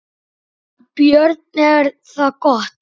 Björn: Er það gott?